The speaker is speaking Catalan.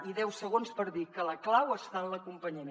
i deu segons per dir que la clau està en l’acompanyament